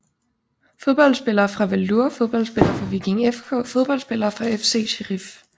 Fodboldspillere fra Valur Fodboldspillere fra Viking FK Fodboldspillere fra FC Sheriff